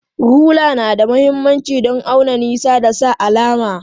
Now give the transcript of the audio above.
Rula na da mahimmanci don auna nisa da sa alama.